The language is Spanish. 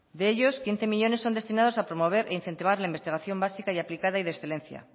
de ellos quince millónes son destinados a promover e incentivar la investigación básica y aplicada y de excelencia